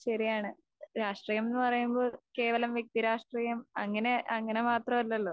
ശെരിയാണ് . രാഷ്ട്രീയമെന്ന് പറയുമ്പോൾ കേവലം വ്യക്തിരാഷ്ട്രീയം അങ്ങനെ അങ്ങനെ മാത്രം അല്ലല്ലോ.